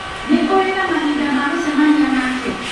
Nĩ ũrĩ na mahinda ma gũcemania nake?